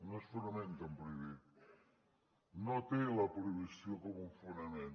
no es fonamenta en prohibir no té la prohibició com un fonament